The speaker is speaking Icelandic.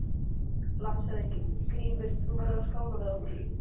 LANDSHÖFÐINGI: Grímur, þú verður að skála við okkur!